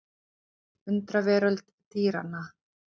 Undraveröld dýranna.